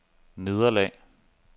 nederlag